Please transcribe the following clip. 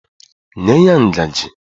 Nye ya ngajị!